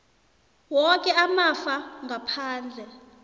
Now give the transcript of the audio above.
woke amafa ngaphandle